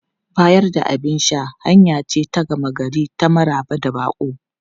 Bayar da abin sha hanya ce ta gama gari ta maraba da baƙo.